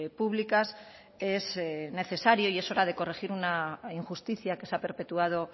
públicas es necesario y es hora de corregir una injusticia que se ha perpetuado